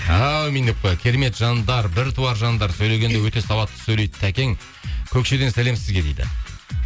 әумин деп қояйық керемет жандар бір туар жандар сөйлегенде өте сауатты сөйлейді такең көкшеден сәлем сізге дейді